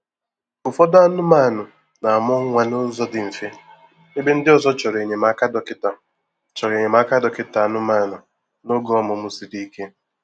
Ụfọdụ anụmanụ na-amụ nwa n'ụzọ dị mfe ebe ndị ọzọ chọrọ enyemaka dọkịta chọrọ enyemaka dọkịta anụmanụ n'oge ọmụmụ siri ike.